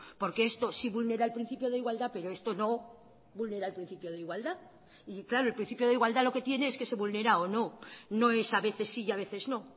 porque esto sí vulnera el principio de igualdad pero esto no vulnera el principio de igualdad y claro el principio de igualdad lo que tiene es que se vulnera o no no es a veces sí y a veces no